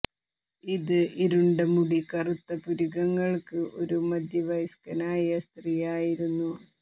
ഇത് ഇരുണ്ട മുടി കറുത്ത പുരികങ്ങൾക്ക് ഒരു മധ്യവയസ്കനായ സ്ത്രീ ആയിരുന്നു